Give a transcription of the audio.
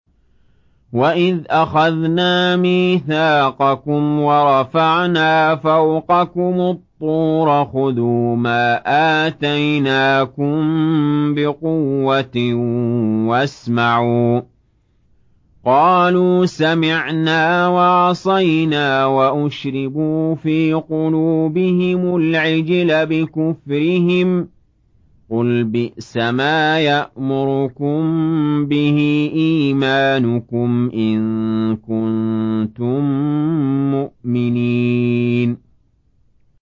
وَإِذْ أَخَذْنَا مِيثَاقَكُمْ وَرَفَعْنَا فَوْقَكُمُ الطُّورَ خُذُوا مَا آتَيْنَاكُم بِقُوَّةٍ وَاسْمَعُوا ۖ قَالُوا سَمِعْنَا وَعَصَيْنَا وَأُشْرِبُوا فِي قُلُوبِهِمُ الْعِجْلَ بِكُفْرِهِمْ ۚ قُلْ بِئْسَمَا يَأْمُرُكُم بِهِ إِيمَانُكُمْ إِن كُنتُم مُّؤْمِنِينَ